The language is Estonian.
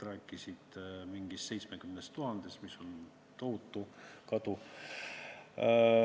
Räägiti mingist 70 000-st, mis on tohutu kadu.